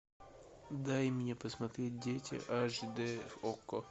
дай мне посмотреть дети аш дэ окко